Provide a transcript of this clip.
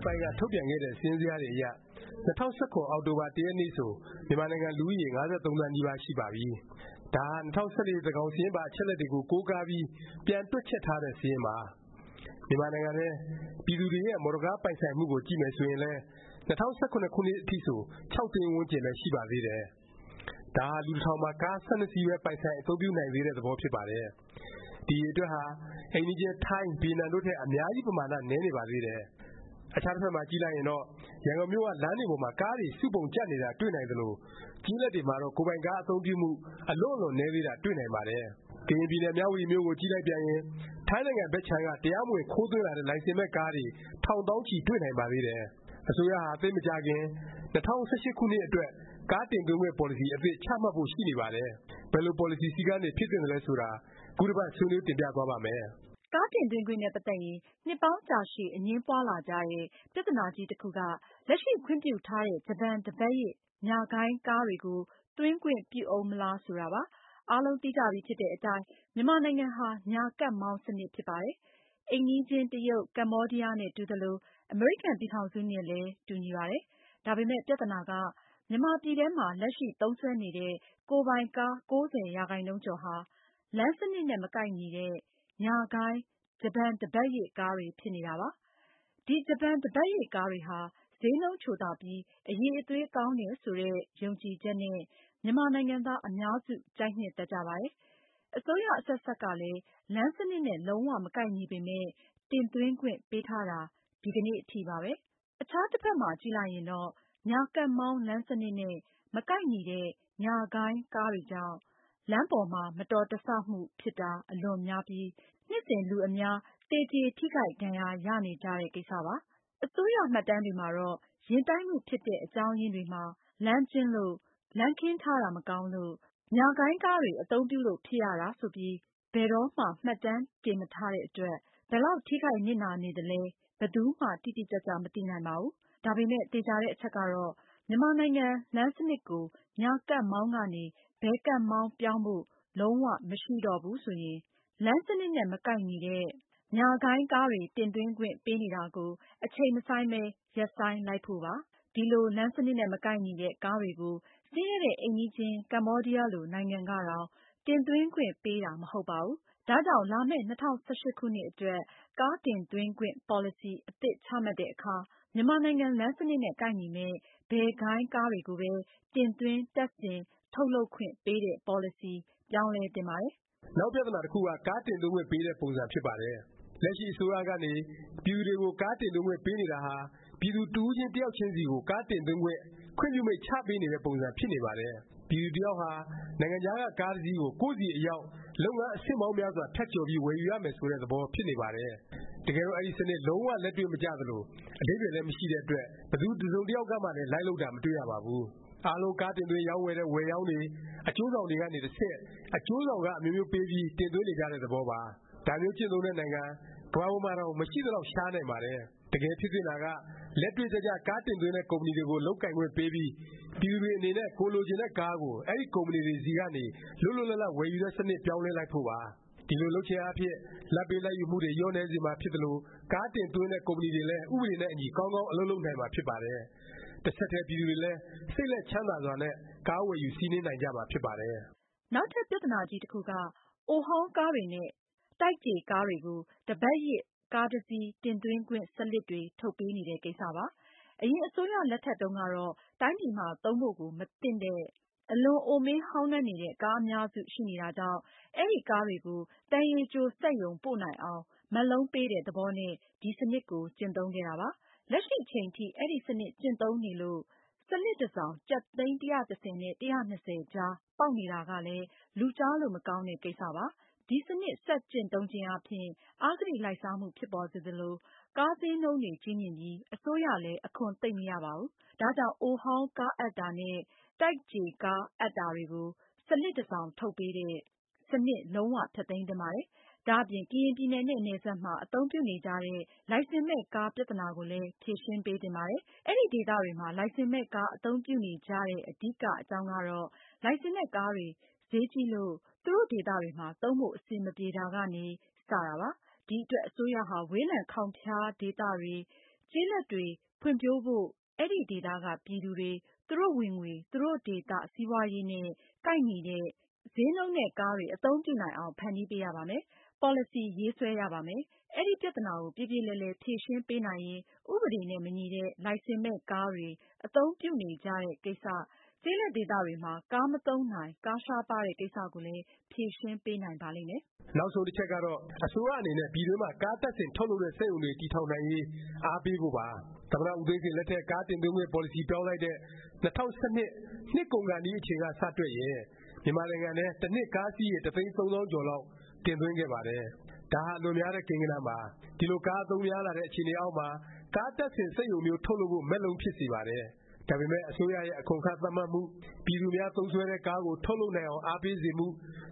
်ပိုင်းက ထုတ်ပြန်ခဲ့တဲ့ စာရင်းဇယားတွေအရ ၂၀၁၇ အောက်တိုဘာ ၁ ရက်နေ့ဆို မြန်မာနိုင်ငံ လူဦးရေ ၅၃ သန်းနီးပါး ရှိပါပြီ။ ဒါဟာ ၂၀၁၄ သန်းခေါင်စာရင်းပါ အချက်အလက်တွေကို ကိုးကားပြီး ပြန်တွက်ချက်ထားတဲ့ စာရင်းပါ။ မြန်မာနိုင်ငံထဲ ပြည်သူတွေရဲ့ မော်တော်ကားပိုင်ဆိုင်မှုကို ကြည့်မယ် ဆိုရင်လည်း ၂၀၁၇ ခုနှစ် အထိဆို ၆ သိန်းဝန်းကျင်ပဲ ရှိပါသေးတယ်။ ဒါဟာ လူတစ်ထောင်မှာ ကား ၁၂ စီးပဲ ပိုင်ဆိုင် အသုံးပြုနိုင်သေးတဲ့ သဘောဖြစ်ပါတယ်။ ဒီ အရည်အတွက်ဟာ အိမ်နီးချင်း ထိုင်း၊ ဗီယက်နမ် တို့ထက် အများကြီး ပမာဏ နည်းနေပါသေးတယ်။ အခြားတစ်ဖက်မှာ ကြည့်လိုက်ရင်တော့ ရန်ကုန်မြို့က လမ်းတွေပေါ်မှာ ကားတွေ စုပုံကြပ်နေတာ တွေ့နိုင်သလို၊ ကျေးလက်တွေမှာတော့ ကိုယ်ပိုင်ကား အသုံးပြုမှု အလွန့်အလွန် နည်းသေးတာ တွေ့နိုင်ပါတယ်။ ကရင်ပြည်နယ် မြဝတီမြို့ကို ကြည့်လိုက်ပြန်ရင် ထိုင်းနိုင်ငံဘက်ခြမ်းက တရားမဝင် ခိုးသွင်းလာတဲ့ လိုင်စင်မဲ့ကားတွေ ထောင်သောင်းချီ တွေ့နိုင်ပါသေးတယ်။ အစိုးရဟာ သိပ်မကြာခင် ၂၀၁၈ ခုနှစ်အတွက် ကားတင်သွင်းခွင့် ပေါ်လစီ အသစ် ချမှတ်ဖို့ ရှိနေပါတယ်။ ဘယ်လို ပေါ်လစီ စည်းကမ်းတွေ ဖြစ်သင့်သလဲ ဆိုတာ ခုတစ်ပတ် ဆွေးနွေး တင်ပြသွားပါ့မယ်။ ကားတင်သွင်းခွင့်နဲ့ ပတ်သက်ရင် နှစ်ပေါင်းကြာရှည် အငြင်းပွားလာကြတဲ့ ပြသနာကြီးတစ်ခုက လက်ရှိ ခွင့်ပြုထားတဲ့ ဂျပန်တစ်ပတ်ရစ် ညာဂိုင်းကားတွေကို သွင်းခွင့်ပြုဦးမလား ဆိုတာပါ။ အားလုံးသိကြပြီဖြစ်တဲ့အတိုင်း မြန်မာနိုင်ငံဟာ ညာကပ်မောင်း စနစ်ဖြစ်ပါတယ်။ အိမ်နီးချင်း တရုတ်၊ ကမ္ဘောဒီးယားနဲ့ တူသလို၊ အမေရိကန် ပြည်ထောင်စု နဲ့လည်း တူညီပါတယ်။ ဒါပေမယ့် ပြသနာက မြန်မာပြည်ထဲမှာ လက်ရှိ သုံးစွဲနေတဲ့ ကိုယ်ပိုင်ကား ၉၀ ရာခိုင်နှုန်းကျော်ဟာ လမ်းစနစ်နဲ့ မကိုက်ညီတဲ့ ညာဂိုင်း ဂျပန်တစ်ပတ်ရစ် ကားတွေ ဖြစ်နေတာပါ။ ဒီဂျပန်တစ်ပတ်ရစ်ကားတွေဟာ ဈေးနှုန်းချိုသာပြီး အရည်အသွေး ကောင်းတယ် ဆိုတဲ့ ယုံကြည်ချက်နဲ့ မြန်မာနိုင်ငံသား အများစု ကြိုက်နှစ်သက်ကြပါတယ်။ အစိုးရ အဆက်ဆက်ကလည်း လမ်းစနစ်နဲ့ လုံး၀ မကိုက်ညီပေမယ့် တင်သွင်းခွင့်ပေးထားတာ ဒီကနေ့ အထိပါပဲ။ အခြားတစ်ဖက်မှာ ကြည့်လိုက်ရင်တော့ ညာကပ်မောင်း လမ်းစနစ်နဲ့ မကိုက်ညီတဲ့ ညာဂိုင်း ကားတွေကြောင့် လမ်းပေါ်မှာ မတော်တဆမှု ဖြစ်တာ အလွန်များပြီး နှစ်စဉ် လူအများ သေကြေ ထိခိုက်ဒါဏ်ရာရနေကြတဲ့ ကိစ္စပါ။ အစိုးရမှတ်တမ်းတွေမှာတော့ ယဉ်တိုက်မှု ဖြစ်တဲ့ အကြောင်းရင်းတွေမှာ လမ်းကျဉ်းလို့၊ လမ်းခင်းထားတာ မကောင်းလို့၊ ကားဟာ လမ်းစနစ်နဲ့ မကိုက်တဲ့ ညာဂိုင်းကားတွေ အသုံးပြုလို့ ဖြစ်ရတာ ဆိုပြီးဘယ်တော့မှ မှတ်တမ်း တင်မထားတဲ့အတွက် ဘယ်လောက် ထိခိုက်နစ်နာနေသလဲ ဘယ်သူမှ တိတိကျကျ မသိနိုင်ပါဘူး။ ဒါပေမယ့် သေခြာတဲ့အချက်ကတော့ မြန်မာနိုင်ငံ လမ်းစနစ်ကို ညာကပ်မောင်းကနေ ဘယ်ကပ်မောင်း ပြောင်းဖို့ လုံး၀ မရှိတော့ဘူး ဆိုရင် လမ်းစနစ်နဲ့ မကိုက်ညီတဲ့ ညာဂိုင်းကားတွေ တင်သွင်းခွင့်ပေးနေတာကို အချိန်မဆိုင်းပဲ ရပ်ဆိုင်းလိုက်ဖို့ပါ။ ဒီလို လမ်းစနစ်နဲ့ မကိုက်ညီတဲ့ ကားတွေကို ဆင်းရဲတဲ့ အိမ်နီးချင်း နိုင်ငံကတောင် တင်သွင်းခွင့် ပေးတာ မဟုတ်ပါဘူး။ ဒါကြောင့် လာမယ့် ၂၀၁၈ ခုနှစ်အတွက် ကားတင်သွင်းခွင့် ပေါ်လစီ အသစ်ချမှတ်တဲ့အခါ မြန်မာနိုင်ငံ လမ်းစနစ်နဲ့ ကိုက်ညီမယ့် ဘယ်ဂိုင်းကားတွေကိုပဲ တင်သွင်း၊ တပ်ဆင်၊ထုတ်လုပ်ခွင့် ပေးတဲ့ ပေါ်လစီ ပြောင်းလဲ သင့်ပါတယ်။ နောက်ပြသနာ တစ်ခုက ကားတင်သွင်းခွင့် ပေးတဲ့ ပုံစံ ဖြစ်ပါတယ်။ လက်ရှိ အစိုးရကနေ ပြည်သူတွေကို ကားတင်သွင်းခွင့် ပေးနေတာဟာ ပြည်သူတစ်ဦးချင်း တစ်ယောက်ချင်းစီကို ကားတင်သွင်း ခွင့်ပြုမိန့် ချပေးနေတဲ့ ပုံစံ ဖြစ်နေပါတယ်။ ပြည်သူတစ်ယောက်ဟာ နိုင်ငံခြားက ကားတစ်စီးကို ကိုယ့်ဆီအရောက် လုပ်ငန်း အဆင့်ပေါင်းများစွာ ဖြတ်ကျော်ပြီး ဝယ်ယူရမယ် ဆိုတဲ့ သဘောဖြစ်ပါတယ်။ တကယ်တော့ အဲဒီ စနစ် လုံး၀ လက်တွေ့မကျသလို၊ အဓိပ္ပါယ်လည်း မရှိတဲ့အတွက် ဘယ်သူ တစ်စုံတစ်ယောက်မှလည်း လိုက်လုပ်တာ မတွေ့ရပါဘူး။ အားလုံး ကားတင်သွင်း ရောင်းဝယ်တဲ့ ဝယ်ရောင်းတွေ၊ အကျိုးဆောင်တွေ ကနေ တဆင့် အကျိုးဆောင်ခ အမျိုးမျိုးပေးပြီး တင်သွင်းနေကြတဲ့ သဘောပါ။ ဒါမျိုးကျင့်သုံးတဲ့ နိုင်ငံ ကမ္ဘာပေါ်မှာတောင် မရှိသလောက် ရှားနိုင်ပါတယ်။ တကယ်ဖြစ်သင့်တာက လက်တွေ့ကျကျ ကားတင်သွင်းတဲ့ ကုမ္ပဏီတွေကို လုပ်ကိုင်ခွင့်ပေးပြီး ပြည်သူတွေအနေနဲ့ ကိုယ်လိုချင်တဲ့ကားကို အဲဒီ ကုမ္ပဏီတွေ ဆီကနေ လွတ်လွတ်လပ်လပ် ဝယ်ယူတဲ့ စနစ် ပြောင်းလဲလိုက်ဖို့ပါ။ ဒီလို လုပ်ခြင်းအားဖြင့် လာဘ်ပေးလာဘ်ယူမှုတွေ လျော့နည်းစေမှာဖြစ်သလို၊ ကားတင်သွင်းတဲ့ ကုမ္ပဏီတွေလည်း ဥပဒေနဲ့အညီ ကောင်းကောင်း အလုပ်လုပ်နိုင်မှာ ဖြစ်ပါတယ်။ တစ်ဆက်တည်း ပြည်သူတွေလည်း စိတ်လက်ချမ်းသာစွာနဲ့ ကားဝယ်ယူ စီးနင်းနိုင်ကြမှာ ဖြစ်ပါတယ်။ နောက်ထပ် ပြသနာကြီးတစ်ခုက အိုဟောင်းကားတွေနဲ့ တိုက်ကြေကားတွေကို တစ်ပတ်ရစ် ကားတစ်စီး တင်သွင်းခွင့် စလစ်တွေ ထုတ်ပေးနေတဲ့ ကိစ္စပါ။ အရင်အစိုးရလက်ထက်တုန်းကတော့ တိုင်းပြည်မှာ သုံးဖို့ကို မသင့်တဲ့ အလွန်အိုမင်းဟောင်းနွမ်းနေတဲ့ ကားအများစု ရှိနေတာကြောင့် အဲဒီ ကားတွေကို သံရည်ကြိုစက်ရုံ ပို့နိုင်အောင် မက်လုံးပေးတဲ့ သဘောနဲ့ ဒီ စနစ်ကို ကျင့်သုံးခဲ့တာပါ။ လက်ရှိအချိန်ထိ အဲဒီ စနစ်ကျင့်သုံးနေလို့ စလစ်တစ်စောင် ကျပ် သိန်း ၁၁၀ နဲ့ ၁၂၀ ကြားပေါက်နေတာကလည်း လူကြားလို့ မကောင်းတဲ့ ကိစ္စပါ။ ဒီစနစ် ဆက်ကျင့်သုံးခြင်းအားဖြင့် အဂတိလိုက်စားမှု ဖြစ်ပေါ်စေသလို၊ ကားဈေးနှုန်းတွေ ကြီးမြင့်ပြီး အစိုးရလည်း အခွန်သိပ်မရပါဘူး။ ဒါကြောင့် အိုဟောင်းကားအပ်တာနဲ့ တိုက်ကြေကား အပ်တာတွေကို စလစ်တစ်စောင် ထုတ်ပေးတဲ့ စနစ် လုံး၀ ဖျက်သိမ်း သင့်ပါတယ်။ ဒါ့အပြင် ကရင်ပြည်နယ်နဲ့ နယ်စပ်မှာ အသုံးပြုနေကြတဲ့ လိုင်စင်မဲ့ကား ပြသနာကိုလည်း ဖြေရှင်းပေးသင့်ပါတယ်။ အဲဒီဒေသတွေမှာ လိုင်စင်မဲ့ကား အသုံးပြုနေကြတဲ့ အဓိက အကြောင်းကတော့ လိုင်စင်နဲ့ကားတွေ ဈေးကြီးလို့ သူတို့ဒေသတွေမှာ သုံးဖို့ အဆင်မပြေတာကနေ စ တာပါ။ ဒီအတွက် အစိုးရဟာ ဝေးလံခေါင်ဖျားဒေသတွေ၊ ကျေးလက်တွေ ဖွံ့ဖြိုးဖို့ အဲဒီဒေသက ပြည်သူတွေ သူတို့ ဝင်ငွေ၊ သူတို့ ဒေသ စီးပွားရေးနဲ့ ကိုက်ညီတဲ့ ဈေးနှုန်းနဲ့ ကားတွေ အသုံးပြုနိုင်အောင် ဖန်တီးပေးရပါမယ်။ ပေါ်လစီ ရေးဆွဲရပါမယ်။ အဲဒီ ပြသနာကို ပြေပြေလည်လည် ဖြေရှင်းပေးနိုင်ရင် ဥပဒေနဲ့ မညီတဲ့ လိုင်စင်မဲ့ကားတွေ အသုံးပြုနေကြတဲ့ကိစ္စ၊ ကျေးလက်ဒေသတွေမှာ ကားမသုံးနိုင်၊ ကားရှားပါးတဲ့ ကိစ္စကိုလည်း ဖြေရှင်းပေးနိုင်ပါလိမ့်မယ်။ နောက်ဆုံးတစ်ချက်ကတော့ အစိုးရအနေနဲ့ ပြည်တွင်းမှာ ကားတပ်ဆင် ထုတ်လုပ်တဲ့ စက်ရုံတွေ တည်ထောင်နိုင်ရေး အားပေးဖို့ပါ။ သမ္မတ ဦးသိန်းစိန် လက်ထက် ကားတင်သွင်းခွင့် ပေါ်လစီ ပြောင်းလိုက်တဲ့ ၂၀၁၂ နှစ်ကုန်ကာနီး အချိန်က စတွက်ရင် မြန်မာနိုင်ငံထဲ တစ်နှစ် ကားစီးရေ တစ်သိန်း သုံးသောင်းကျော်လောက် တင်သွင်းခဲ့ပါတယ်။ ဒါဟာ အလွန်များတဲ့ ကိန်းဂဏန်းပါ။ ဒီလို ကားအသုံးပြုများလာတဲ့ အခြေအနေအောက်မှာ ကားတပ်ဆင် စက်ရုံမျိုး ထုတ်လုပ်ဖို့ မက်လုံး ဖြစ်စေပါတယ်။ ဒါပေမယ့် အစိုးရရဲ့ အခွန်အခ သတ်မှတ်မှု၊ ပြည်သူအများ သုံးစွဲတဲ့ ကားကို ထုတ်လုပ်အောင် အားပေးစေမှု